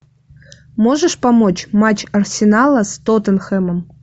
можешь помочь матч арсенала с тоттенхэмом